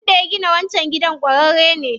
Wanda ya gina wancan gidan ƙwararre ne.